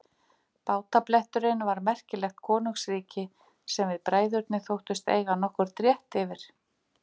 Bátabletturinn var merkilegt konungsríki sem við bræðurnir þóttumst eiga nokkurn rétt yfir.